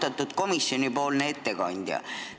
Austatud komisjoni ettekandja!